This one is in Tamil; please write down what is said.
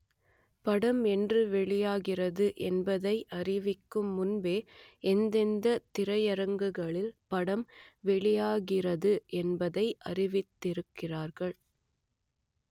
படம் என்று வெளியாகிறது என்பதை அறிவிக்கும் முன்பே எந்தெந்த திரையரங்குகளில் படம் வெளியாகிறது என்பதை அறிவித்திருக்கிறார்கள்